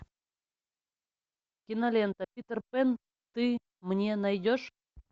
кинолента питер пен ты мне найдешь